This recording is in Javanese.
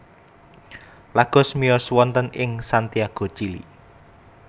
Lagos miyos wonten ing Santiago Chili